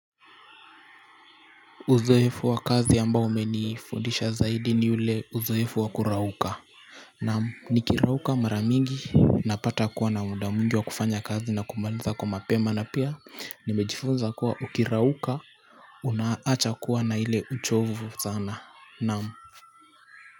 Uzoefu wa kazi ambao umenifundisha zaidi ni ule uzoefu wa kurauka. Naam nikirauka mara mingi napata kuwa na muda mwingi wa kufanya kazi na kumaliza kwa mapema na pia nimejifunza kuwa ukirauka unaacha kuwa na ile uchovu sana naam.